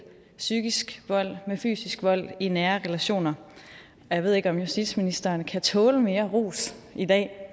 psykisk vold med fysisk vold i nære relationer jeg ved ikke om justitsministeren kan tåle mere ros i dag